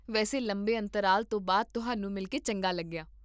ਵੈਸੇ, ਲੰਬੇ ਅੰਤਰਾਲ ਤੋਂ ਬਾਅਦ ਤੁਹਾਨੂੰ ਮਿਲ ਕੇ ਚੰਗਾ ਲੱਗਿਆ